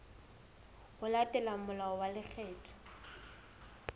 ho latela molao wa lekgetho